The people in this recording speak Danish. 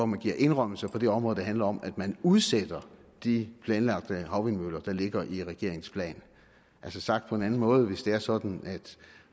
man giver indrømmelser på det område der handler om at man udsætter de planlagte havvindmøller der ligger i regeringens plan altså sagt på en anden måde hvis det er sådan at